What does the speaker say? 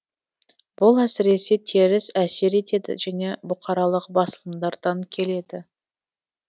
бұл әсіресе теріс әсер етеді және бұқаралық басылымдардан келеді